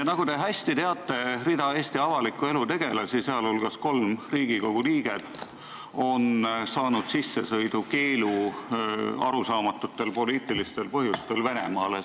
Nagu te hästi teate, rida Eesti avaliku elu tegelasi, sh kolm Riigikogu liiget, on saanud arusaamatutel poliitilistel põhjustel Venemaale sissesõidu keelu.